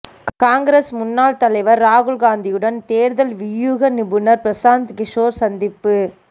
காங்கிரஸ் முன்னாள் தலைவர் ராகுல் காந்தியுடன் தேர்தல் வியூக நிபுணர் பிரசாந்த் கிஷோர் சந்திப்பு